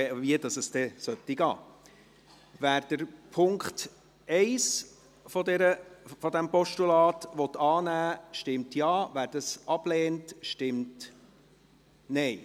Wer den Punkt 1 dieses Postulats annehmen will, stimmt Ja, wer diesen ablehnt, stimmt Nein.